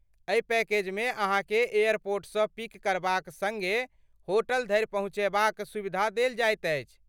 एहि पैकेजमे अहाँके एयरपोर्टसँ पिक करबाक सड़्गे होटल धरि पहुँचयबाक सुविधा देल जाइत अछि।